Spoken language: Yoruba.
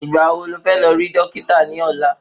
Ìgbà wo ní o fé lọ rí Dókítà ní ọ̀la??